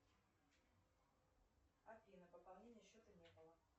афина пополнения счета не было